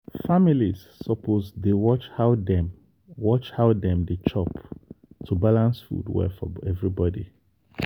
families suppose dey watch how dem watch how dem dey chop to balance food well for everybody.